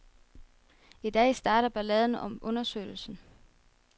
I dag starter balladen om undersøgelsen.